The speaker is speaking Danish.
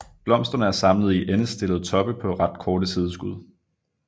Blomsterne er samlet i endestillede toppe på ret korte sideskud